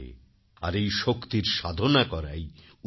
আর এই শক্তির সাধনা করাই উৎসব